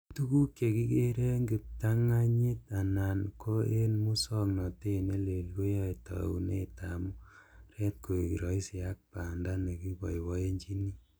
Tuguk che kigere en kiptarng'anyit anan ko en musong'notet neleel koyoe taunetab mung'aret koik roisi ak banda ne kiboiboenyin.